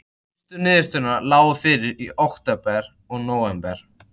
Fyrstu niðurstöðurnar lágu fyrir í október og nóvember.